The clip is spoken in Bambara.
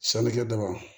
Sannikɛ daba